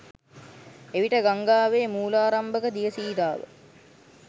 එවිට ගංගාවේ මූලාරම්භක දිය සීරාව